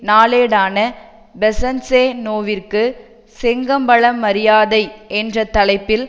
நாளேடான பெசன்ஸெநோவிற்கு செங்கம்பள மரியாதை என்ற தலைப்பில்